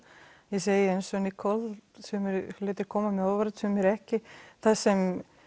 ég segi eins og Nicole sumir hlutir koma mjög á óvart og sumir ekki það sem